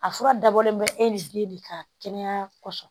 A fura dabɔlen bɛ e ni den de ka kɛnɛya kɔsɔn.